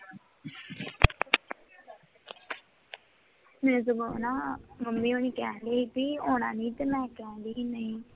ਮੇਰੇ ਸਗੋਂ ਨਾ ਮੰਮੀ ਹੋਰੀ ਕਹਿ ਰਹੇ ਸੀ ਤੇ ਮੈਂ ਕਹਿਣ ਡੇਈ ਨੀ